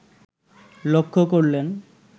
লক্ষ্য করলেন